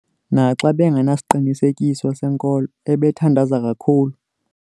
Naxa ebengenasiqinisekiso senkolo, ebethandaza kakhulu.